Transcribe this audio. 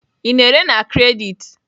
Ị na-ere na kredit?